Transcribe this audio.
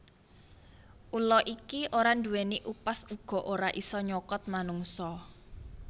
Ula iki ora nduwèni upas uga ora isa nyokot manungsa